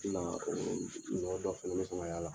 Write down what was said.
N haki la o yɔrɔ nɔ dɔ fana bɛ sɔn k'a y'ala